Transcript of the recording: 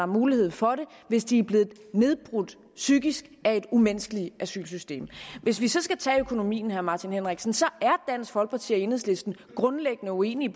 mulighed for det hvis de er blevet nedbrudt psykisk af et umenneskeligt asylsystem hvis vi så skal tage økonomien herre martin henriksen så er dansk folkeparti og enhedslisten grundlæggende uenige